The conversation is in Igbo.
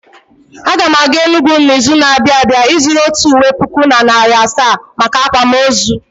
Aga m aga Enugwu n'izu na-abịa ịzụrụ otu ụwe puku na narị asaa maka akwamụozụ